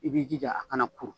I b'i jija a kana kuru